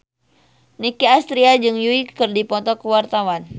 Nicky Astria jeung Yui keur dipoto ku wartawan